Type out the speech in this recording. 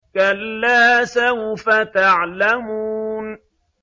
كَلَّا سَوْفَ تَعْلَمُونَ